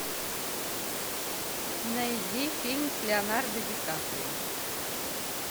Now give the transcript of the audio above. найди фильм с леонардо ди каприо